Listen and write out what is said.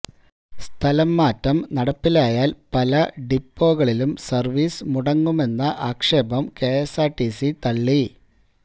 സ്ഥലംമാറ്റം നടപ്പിലായാല് പല ഡിപ്പോകളിലും സര്വ്വീസ് മുടങ്ങുമെന്ന ആക്ഷേപം കെഎസ്ആര്ടിസി തള്ളി